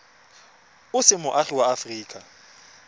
o se moagi wa aforika